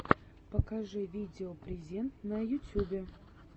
покажи видео презент на ютюбе